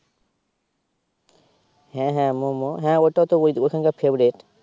হ্যা হ্যা মোমো হ্যা ওইটা তো ওইখান কার favourite